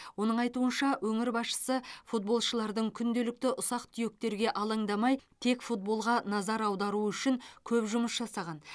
оның айтуынша өңір басшысы футболшылардың күнделікті ұсақ түйектерге алаңдамай тек футболға назар аударуы үшін көп жұмыс жасаған